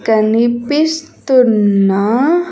కనిపిస్తున్న.